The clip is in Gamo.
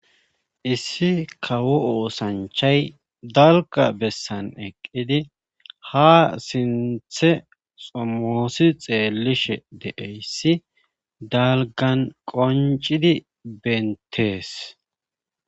issi kawo oosanchay dalga bessan eqqidi ha sinthe somoosi xeellishe deeyssi dalgan qoncidi bentees